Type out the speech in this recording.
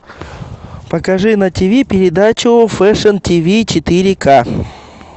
покажи на тиви передачу фэшн тиви четыре к